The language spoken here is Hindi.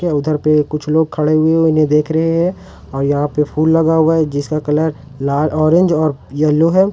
उधर पर कुछ लोग खड़े हुए उन्हें देख रहे हैं और यहां पर फूल लगा हुआ है जिसका कलर लाल ऑरेंज और येलो है।